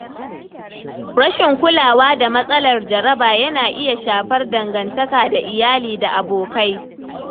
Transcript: Rashin kulawa da matsalar jaraba yana iya shafar dangantaka da iyali da abokai.